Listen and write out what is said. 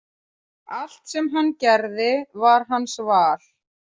Allt sem hann gerði var hans val.